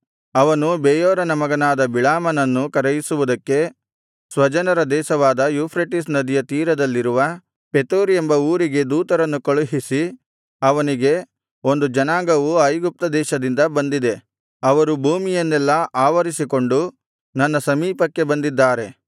ಅವನು ಬೆಯೋರನ ಮಗನಾದ ಬಿಳಾಮನನ್ನು ಕರೆಯಿಸುವುದಕ್ಕೆ ಸ್ವಜನರ ದೇಶವಾದ ಯೂಫ್ರೆಟಿಸ್ ನದಿಯ ತೀರದಲ್ಲಿರುವ ಪೆತೋರ್ ಎಂಬ ಊರಿಗೆ ದೂತರನ್ನು ಕಳುಹಿಸಿ ಅವನಿಗೆ ಒಂದು ಜನಾಂಗವು ಐಗುಪ್ತ ದೇಶದಿಂದ ಬಂದಿದೆ ಅವರು ಭೂಮಿಯನ್ನೆಲ್ಲಾ ಆವರಿಸಿಕೊಂಡು ನನ್ನ ಸಮೀಪಕ್ಕೆ ಬಂದಿದ್ದಾರೆ